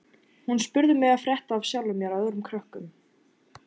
Hún spurði mig frétta af sjálfum mér og öðrum krökkum.